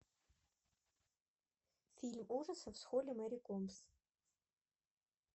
фильм ужасов с холли мэри комбс